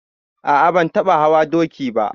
A a ban taɓa hawa doki ba.